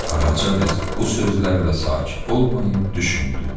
Qaraca qız bu sözlərlə sakit olmayıb düşündü.